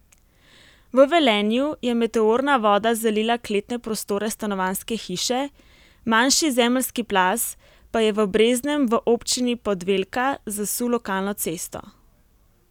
V Velenju je meteorna voda zalila kletne prostore stanovanjske hiše, manjši zemeljski plaz pa je v Breznem v občini Podvelka zasul lokalno cesto.